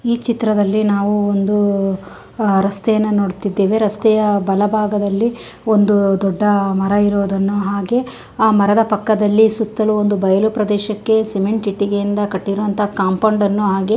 ಈ ಚಿತ್ರದಲ್ಲಿ ನಾವು ಒಂದು ಅಹ್ ರಸ್ತೆಯನ್ನು ನೋಡ್ತಿದ್ದೇವೆ. ರಸ್ತೆಯ ಬಲಬಾಗದಲ್ಲಿ ಒಂದು ದೊಡ್ಡ ಮರ ಇರೋದನ್ನು ಹಾಗೆ ಆ ಮರದ ಪಕ್ಕದಲ್ಲಿ ಸುತ್ತಲೂ ಒಂದು ಬಯಲು ಪ್ರದೇಶಕ್ಕೆ ಸಿಮೆಂಟ್ ಇಟ್ಟಿಗೆಯಿಂದ ಕಟ್ಟಿರೋವಂತ ಕಾಂಪೌಂಡ್ ಅನ್ನು ಹಾಗೆ --